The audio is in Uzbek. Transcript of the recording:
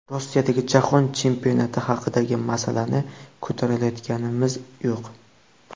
Rossiyadagi jahon chempionati haqidagi masalani ko‘tarayotganimiz yo‘q.